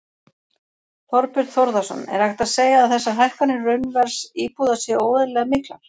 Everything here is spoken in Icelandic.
Þorbjörn Þórðarson: Er hægt að segja að þessar hækkanir raunverðs íbúða séu óeðlilega miklar?